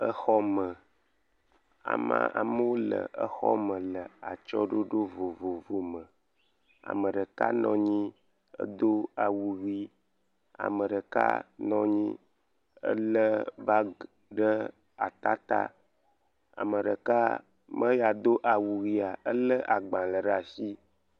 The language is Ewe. Exɔme. amaa, amewo le exɔme le atsyɔ̃ɖoɖo vovovome. Ame ɖeka nɔ anyi hedo awu ʋi, ame ɖeka nɔ anyi , elé bagi ɖe atata. Ame ɖeka, me ya do awu ʋia, elé agbalẽ ɖe ashi.